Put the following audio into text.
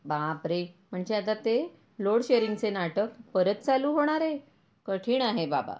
बापरे म्हणजे आता ते लोड शेरिंग चे नाटक परत चालू होणार आहे कठीण आहे बाबा.